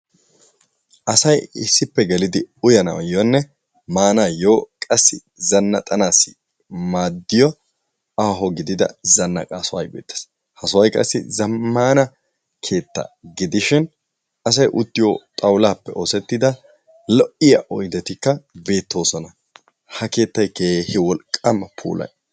Asayi issippe gelidi uyanaayyonne maanaayyo qassi zannaxanaassi maaddiyo aaho gidida zanaqa sohoyi beettes. Ha sohoyi qassi zammaana keettaa gidishin asayi uttiyo xawulaappe oosettida lo7iya oydetikka beettoosona ha keettayi keehi wolqqaama puula.